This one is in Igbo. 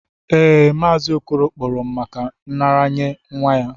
Ee, Mazi okoro kporo m maka nraranye nwa ya.